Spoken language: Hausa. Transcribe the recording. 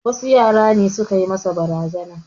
Wasu yara ne su ka yi masa barazana.